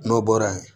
N'o bɔra yen